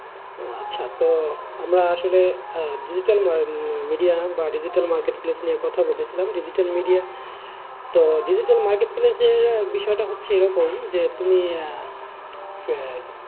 আচ্ছা তো আমরা আসলে আহ digital media বা digital marketplace নিয়ে কথা বলেছিলাম digital media তো digital marketplace এর বিষয়টা হচ্ছে এরকম যে তুমি ,